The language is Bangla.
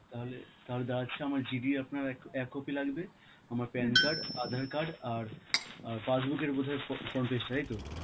তাহলে~ তাহলে দাঁড়াচ্ছে আমার GD আপনার এক~ এক copy লাগবে, আমার pan card, আঁধার card আর অ্যাঁ passbook এর বোধ হয় fro~ front page টা, তাইতো?